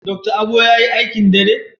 Dr. Abo yayi aikin dare?